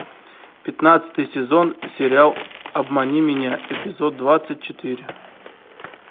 пятнадцатый сезон сериал обмани меня эпизод двадцать четыре